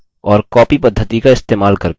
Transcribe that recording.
b copy पद्धति का इस्तेमाल करके